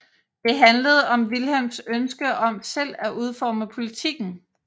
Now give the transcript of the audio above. Det handlede om Wilhelms ønske om selv at udforme politikken